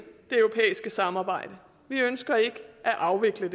det europæiske samarbejde vi ønsker ikke at afvikle